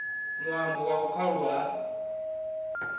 ṅwambo wa u khaulwa ha